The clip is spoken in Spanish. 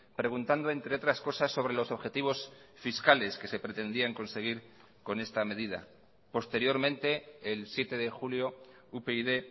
preguntando entre otras cosas sobre los objetivos fiscales que se pretendían conseguir con esta medida posteriormente el siete de julio upyd